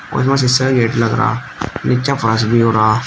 कुछ में शीशे का गेट लग रहा नीचे फर्श भी हो रहा।